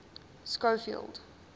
schofield